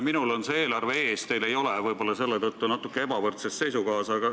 Minul on see eelarve ees, teil ei ole, võib-olla oleme selle tõttu natuke ebavõrdses olukorras.